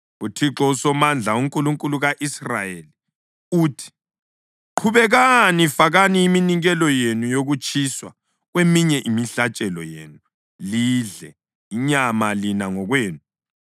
UThixo uSomandla, uNkulunkulu ka-Israyeli uthi: Qhubekani, fakani iminikelo yenu yokutshiswa kweminye imihlatshelo yenu lidle inyama lina ngokwenu!